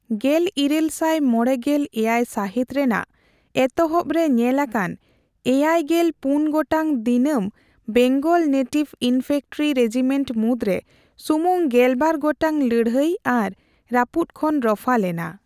ᱜᱮᱞᱤᱨᱟᱹᱞ ᱥᱟᱭ ᱢᱚᱲᱮᱜᱮᱞ ᱮᱭᱟᱭ ᱥᱟᱹᱦᱤᱛ ᱨᱮᱱᱟᱜ ᱮᱛᱦᱚᱵᱽᱨᱮ ᱧᱮᱞᱟᱠᱟᱱ ᱮᱭᱮᱭᱜᱮᱞ ᱯᱩᱱ ᱜᱚᱴᱟᱝ ᱫᱤᱱᱟᱹᱢ ᱵᱮᱝᱜᱚᱞ ᱱᱮᱴᱤᱵᱷ ᱤᱱᱯᱷᱮᱱᱴᱨᱤ ᱨᱮᱡᱤᱢᱮᱱᱴ ᱢᱩᱫᱽᱨᱮ ᱥᱩᱢᱩᱝ ᱜᱮᱞᱵᱟᱨ ᱜᱚᱴᱟᱝ ᱞᱟᱹᱲᱦᱟᱹᱭ ᱟᱨ ᱨᱟᱹᱯᱩᱫᱽ ᱠᱷᱚᱱ ᱨᱚᱯᱷᱟ ᱞᱮᱱᱟ ᱾